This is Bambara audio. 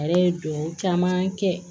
Ale ye duwawu caman kɛ